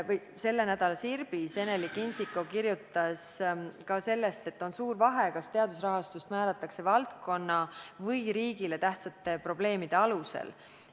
Selle nädala Sirbis Eneli Kindsiko kirjutas ka sellest, et on suur vahe, kas teadusraha määratakse valdkonna või riigile tähtsate probleemide alusel.